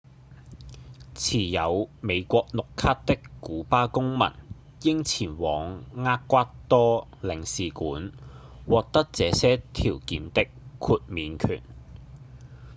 持有美國綠卡的古巴公民應前往厄瓜多領事館獲得這些條件的豁免權